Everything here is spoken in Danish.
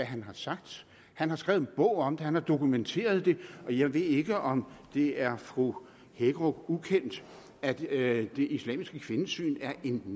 han har sagt han har skrevet en bog om det han har dokumenteret det og jeg ved ikke om det er fru hækkerup ukendt at at det islamiske kvindesyn er en